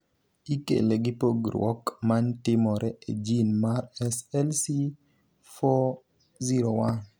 Ikele gi pogruok ma timore e gin mar SLC401